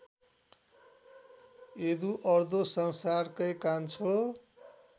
Eduardo संसारकै कान्छो